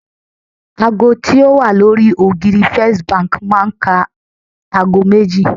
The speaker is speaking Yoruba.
ago ti o wa lori ògiri first Bank ma n ká agọ méjì